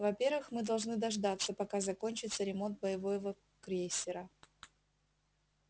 во-первых мы должны дождаться пока закончится ремонт боевого крейсера